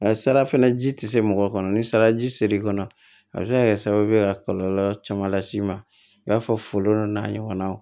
Sara fɛnɛ ji tɛ se mɔgɔ kɔnɔ ni saraji ser'i kɔnɔ a be se ka kɛ sababu ye ka kɔlɔlɔ caman las'i ma i b'a fɔ foro n'a ɲɔgɔnnaw